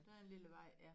Der en lille vej ja